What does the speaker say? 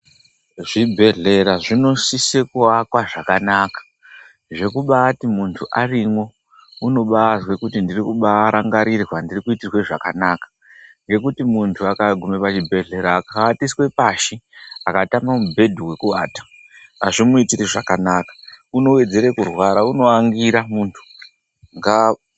Zvibhehlera zvinosise kuakwa zvakanaka zvekubati muntu arimwl unombazwe kubarangarirwa kuti ndirikuitirwe zvakanaka. Ngekuti muntu akagume pachibhehleya akawatiswe pashi akatama mubhedhu wekuata azvimuitiri zvakanaka unowedzere kurwar, unoangira muntu.